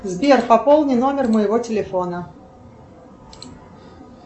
сбер пополни номер моего телефона